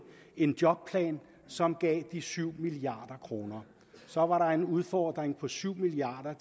en jobplan som gav de syv milliard kroner så var der en udfordring på syv milliard